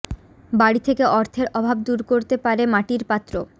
বাড়ি থেকে অর্থের অভাব দূর করতে পারে মাটির পাত্র